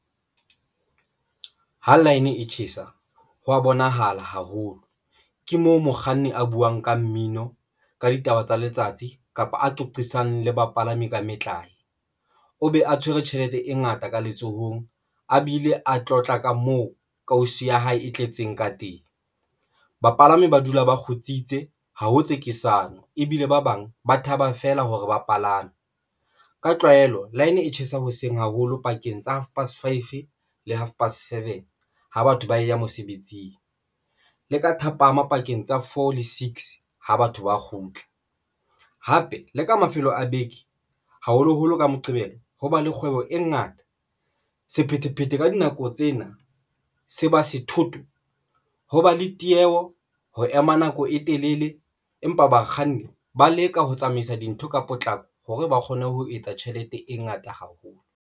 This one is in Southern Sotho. Ha line e tjhesa, hwa bonahala haholo ke moo mokganni a buwang ka mmino ka ditaba tsa letsatsi kapa a qoqisane le bapalami ka metlae. O be a tshwere tjhelete e ngata ka letsohong e bile a tlotla ka moo kausi ya hae e tletseng ka teng. Bapalami ba dula ba ikgutsitse ha ho tsekisana ebile ba bang ba thaba feela hore bapalami ka tlwaelo line e tjhesa hoseng haholo pakeng tsa half past five le half past seven, ha batho ba ya mosebetsing le ka thapama pakeng tsa four le six, ha batho ba kgutla hape le ka mafelo a beke, haholoholo ka moqebelo ho ba le kgwebo e ngata sephethephethe ka dinako tsena, se ba sethotho ho ba le tieho ho ema nako e telele empa bakganni ba leka ho tsamaisa dintho ka potlako hore ba kgone ho etsa tjhelete e ngata haholo.